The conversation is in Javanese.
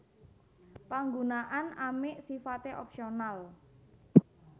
Panggunaan amik sifate opsional